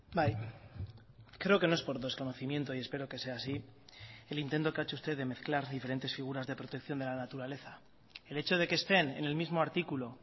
bai creo que no es por desconocimiento y espero que sea así el intento que ha hecho usted de mezclar diferentes figuras de protección de la naturaleza el hecho de que estén en el mismo articulo